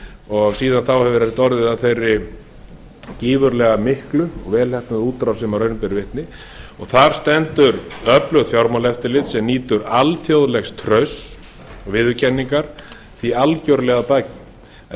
og síðan þá hefur þetta orðið af þeirri gífurlega miklu og vel heppnuðu útrás sem raun ber vitni og þar stendur öflugt fjármálaeftirlit sem nýtur alþjóðlegstrausts viðurkenningar í algerlega því algerlega að baki